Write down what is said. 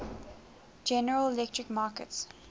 general electric markets